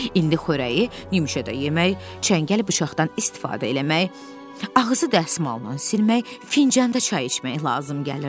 İndi xörəyi yümşə də yemək, çəngəl bıçaqdan istifadə eləmək, ağzı dəsmalla silmək, fincanda çay içmək lazım gəlirdi.